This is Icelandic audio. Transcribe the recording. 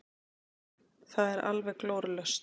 Það er alveg glórulaust.